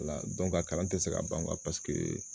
O la a kalan te se ka ban paseke